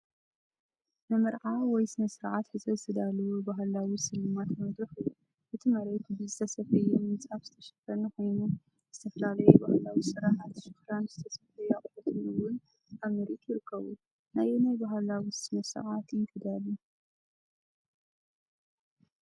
ንመርዓ ወይ ስነ-ስርዓት ሕጸ ዝተዳለወ ባህላዊ ስልማት መድረኽ እዩ። እቲ መሬት ብዝተሰፍየ ምንጻፍ ዝተሸፈነ ኮይኑ፡ ዝተፈላለዩ ባህላዊ ስርሓት ሸኽላን ዝተሰፍዩ ኣቑሑትን እውን ኣብ ምርኢት ይርከቡ። ንኣየናይ ባህላዊ ስነ-ስርዓት እዩ ተዳልዩ?